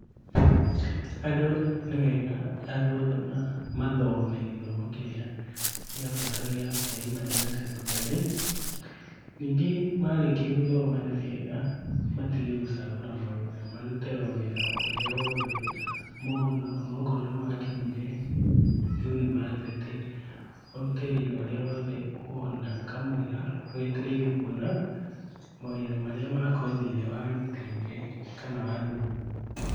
Andũ nĩ wega andũ othe mathome gĩthomo kĩrĩa gĩa bata gia primary na secondary, ningĩ marĩkia gũthoma nĩ wega matige gũcagũra mawĩra, marute o wĩra o ũrĩa wothe mona, o na okorwo nĩ wakinyire university ũrute wĩra o ũrĩa wothe wona kamũira wetereire kuona mawĩra marĩa ma kothi ĩrĩa warutĩire kana wathomeire